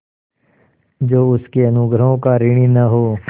जो उसके अनुग्रहों का ऋणी न हो